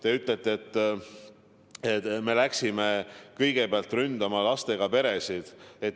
Te ütlesite, et me läksime kõigepealt ründama lastega peresid.